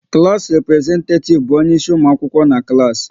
Klass representetativ bụ onye isi ụmụ akwụkwọ n'klass